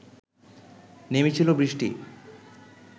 নেমেছিল বৃষ্টি